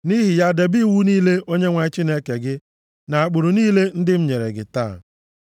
Nʼihi ya debe iwu niile Onyenwe anyị Chineke gị na ụkpụrụ niile ndị m nyere gị taa.”